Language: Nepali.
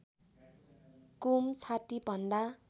कुम छाति भन्दा